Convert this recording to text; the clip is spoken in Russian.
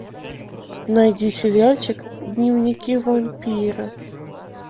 найди сериальчик дневники вампира